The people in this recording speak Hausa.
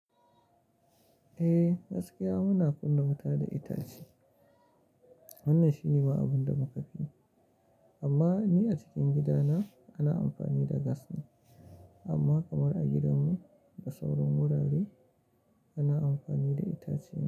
Eh gaskiya muna kunna wuta da itace. Wannan shine ma abin da muka fi yi, amma ni a cikin gidana ana amfani da gas ne. Amma kamar a gidanmu da sauran wurare ana amfani da itace ne.